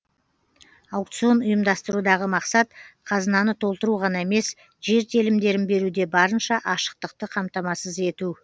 аукцион ұйымдастырудағы мақсат қазынаны толтыру ғана емес жер телімдерін беруде барынша ашықтықты қамтамасыз ету